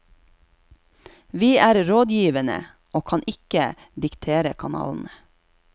Vi er rådgivende, og kan ikke diktere kanalene.